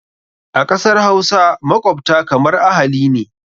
A ƙasar Hausa, makwabta kamar ahali ne.